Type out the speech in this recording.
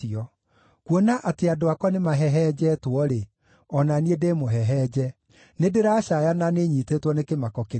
Kuona atĩ andũ akwa nĩmahehenjetwo-rĩ, o na niĩ ndĩmũhehenje; nĩndĩracaaya na nĩnyiitĩtwo nĩ kĩmako kĩnene.